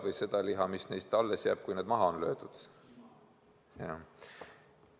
Või seda liha, mis neist alles jääb, kui nad on maha löödud?